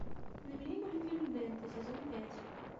набери мультфильм бенто сезон пять